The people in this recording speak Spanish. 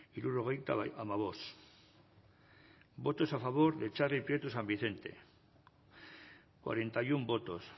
irurogeita ama bost votos a favor de charli prieto san vicente cuarenta y uno votos